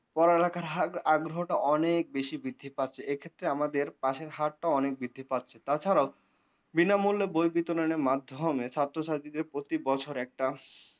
পড়ালেখার আগ্রহটা অনেক বেশি বৃদ্ধি পাচ্ছে এক্ষেত্রে আমাদের পাসের হার টাও অনেক বৃদ্ধি পাচ্ছে তাছাড়াও। বিনামূল্যে বই বিতরণের মাধ্যমে ছাত্রছাত্রীদের প্রতি বছর একটা